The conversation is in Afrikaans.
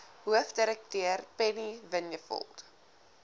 hoofdirekteur penny vinjevold